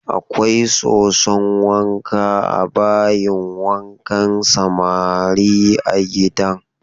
Akwai soson wanka a bayin wankan samari a gidan.